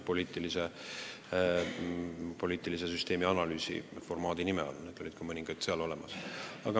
Poliitilise süsteemi analüüsi formaadi nime all olid ka mõningad sellekohased ettepanekud seal olemas.